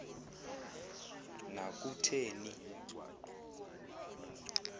na kuthe ni